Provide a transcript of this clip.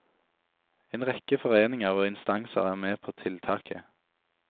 En rekke foreninger og instanser er med på tiltaket.